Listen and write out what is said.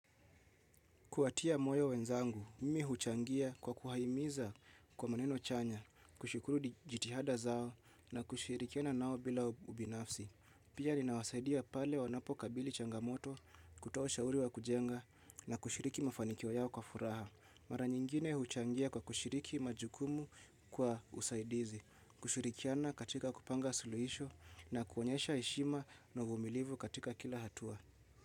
Kuwatia moyo wenzangu, mimi huchangia kwa kuwahimiza kwa maneno chanya, kushukuru jitihada zao na kushirikiana nao bila ubinafsi. Pia ninawasaidia pale wanapo kabili changamoto, kutoa ushauri wa kujenga na kushiriki mafanikio yao kwa furaha. Mara nyingine huchangia kwa kushiriki majukumu kwa usaidizi, kushirikiana katika kupanga suluhisho na kuonyesha heshima na uvumilivu katika kila hatua.